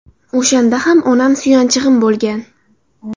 O‘shanda ham onam suyanchig‘im bo‘lgan.